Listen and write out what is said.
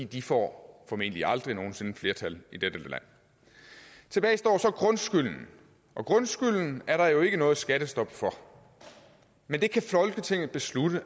de får formentlig aldrig nogen sinde flertal i dette land tilbage står så grundskylden og grundskylden er der jo ikke noget skattestop for men det kan folketinget beslutte